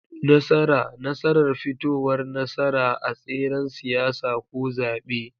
Nasara: Nasarar fitowar nasara a tseren siyasa ko zaɓe.